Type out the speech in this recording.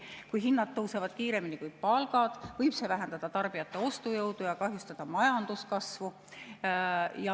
Kui hinnad tõusevad kiiremini kui palgad, võib see vähendada tarbijate ostujõudu ja kahjustada majanduskasvu.